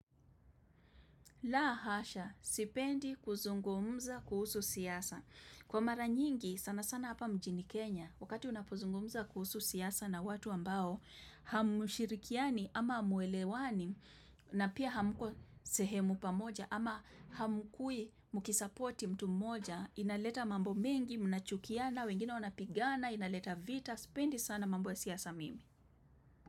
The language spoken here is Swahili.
Laa hasha, sipendi kuzungumza kuhusu siasa. Kwa mara nyingi, sana sana hapa mjini Kenya, wakati unapozungumza kuhusu siasa na watu ambao, hamshirikiani ama hamuelewani na pia hamko sehemu pamoja ama hamkui mukisapoti mtu mmoja, inaleta mambo mengi, mnachukiana, wengine wanapigana, inaleta vita, sipendi sana mambo siasa mimi.